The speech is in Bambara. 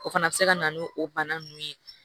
O fana bɛ se ka na n'o bana ninnu ye